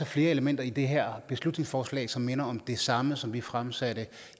flere elementer i det her beslutningsforslag som minder om det samme som vi fremsatte